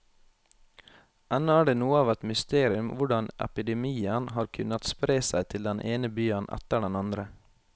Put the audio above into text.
Ennå er det noe av et mysterium hvordan epidemien har kunnet spre seg til den ene byen etter den andre.